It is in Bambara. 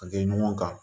A kɛ ɲɔgɔn kan